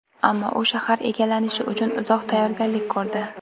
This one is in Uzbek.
Ammo u shahar egallanishi uchun uzoq tayyorgarlik ko‘rdi.